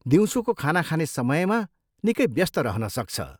दिउँसोको खाना खाने समयमा निकै व्यस्त रहनसक्छ।